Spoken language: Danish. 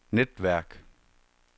netværk